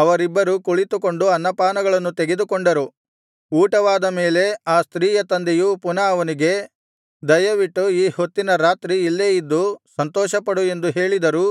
ಅವರಿಬ್ಬರೂ ಕುಳಿತುಕೊಂಡು ಅನ್ನಪಾನಗಳನ್ನು ತೆಗೆದುಕೊಂಡರು ಊಟವಾದ ಮೇಲೆ ಆ ಸ್ತ್ರೀಯ ತಂದೆಯು ಪುನಃ ಅವನಿಗೆ ದಯವಿಟ್ಟು ಈ ಹೊತ್ತಿನ ರಾತ್ರಿ ಇಲ್ಲೇ ಇದ್ದು ಸಂತೋಷಪಡು ಎಂದು ಹೇಳಿದರೂ